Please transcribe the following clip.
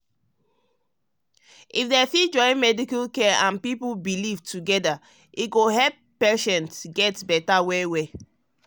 if um we fit join medical um care and care and people belief together e go help patients get better well-well.